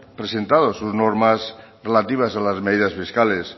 presentado sus normas relativas de las medidas fiscales